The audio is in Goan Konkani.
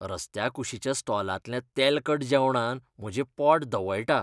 रस्त्याकुशीच्या स्टॉलांतल्या तेलकट जेवणान म्हजें पोट धवळटा.